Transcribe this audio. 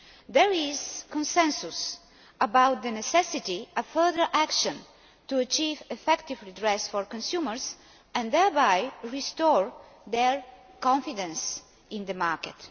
There is consensus about the necessity of further action to achieve effective redress for consumers and thereby restore their confidence in the market.